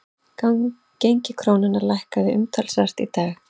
Gengi krónunnar lækkaði umtalsvert í dag